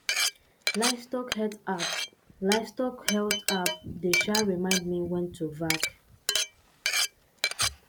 livestock health app livestock health app dey um remind me when to vac